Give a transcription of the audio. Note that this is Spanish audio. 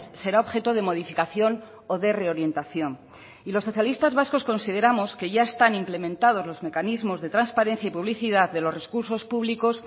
será objeto de modificación o de reorientación y los socialistas vascos consideramos que ya están implementados los mecanismos de transparencia y publicidad de los recursos públicos